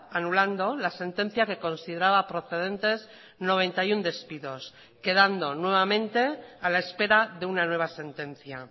anulando la sentencia que consideraba procedentes noventa y uno despidos quedando nuevamente a la espera de una nueva sentencia